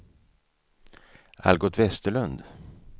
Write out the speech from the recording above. Algot Vesterlund